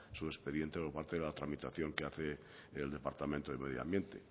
su expediente por parte de la tramitación que hace el departamento de medioambiente